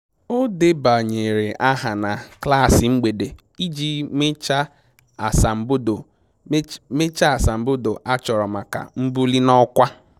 O debanyere aha na klaasị mgbede iji mechaa asambodo mechaa asambodo a chọrọ maka mbuli na ọkwa